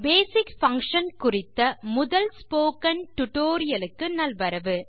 பேசிக் Functionகுறித்த முதல் spoken tutorial க்கு நல்வரவு